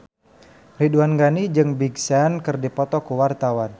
Ridwan Ghani jeung Big Sean keur dipoto ku wartawan